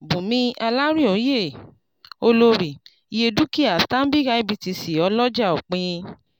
bùnmí olarinoye-olórí- iye dúkìá stanbic ibtc ọlọ́jà òpin.